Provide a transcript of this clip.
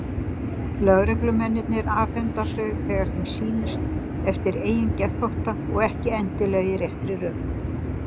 Lögreglumennirnir afhenda þau þegar þeim sýnist, eftir eigin geðþótta, og ekki endilega í réttri röð.